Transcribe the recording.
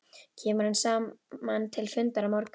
Kemur hann saman til fundar á morgun?